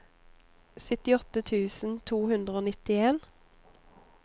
syttiåtte tusen to hundre og nitten